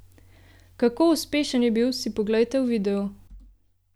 Kako uspešen je bil, si poglejte v videu!